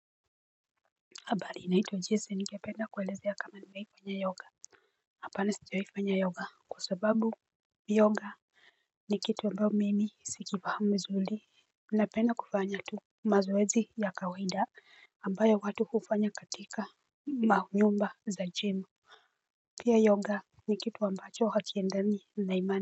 Habari ninaitwa jessie ningependa kuelezea kama nimewahi fanya yoga hapana sijawahi fanya yoga kwa sababu Yoga ni kitu ambao mimi sikifahamu vizuri. Napenda kufanya tu mazoezi ya kawaida ambayo watu hufanya katika manyumba za jimu. Pia yoga ni kitu ambacho hakiendani na imani.